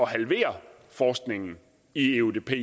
halvere forskningen i eudp i